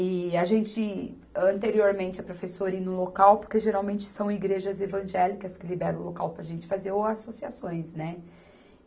E a gente, anteriormente, a professora ir no local, porque geralmente são igrejas evangélicas que liberam o local para a gente fazer, ou associações, né?